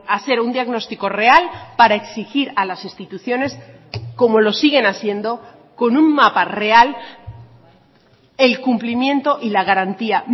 hacer un diagnóstico real para exigir a las instituciones como lo siguen haciendo con un mapa real el cumplimiento y la garantía